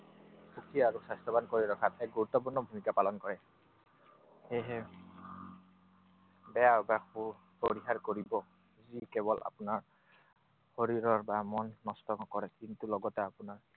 সুখী আৰু স্বাস্থ্যৱান কৰি ৰখাত এক গুৰুত্বপূৰ্ণ ভূমিকা পালন কৰে। সেয়েহে, বেয়া অভ্যাসবোৰ পৰিহাৰ কৰিব যি কেৱল আপোনাৰ শৰীৰৰ বা মন নষ্ট নকৰে। কিন্তু লগতে আপোনাৰ